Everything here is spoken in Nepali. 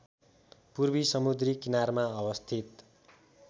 पूर्वी समुद्री किनारमा अवस्थित